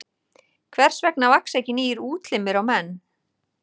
Hvers vegna vaxa ekki nýir útlimir á menn?